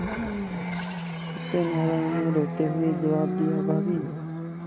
सत्यनाराण ने रोते हुए जवाब दियाभाभी